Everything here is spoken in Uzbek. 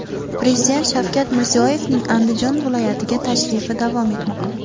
Prezident Shavkat Mirziyoyevning Andijon viloyatiga tashrifi davom etmoqda.